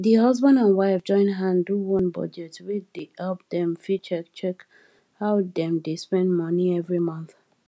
di husband and wife join hand do one budget wey dey help dem fit check check how dem dey spend money every month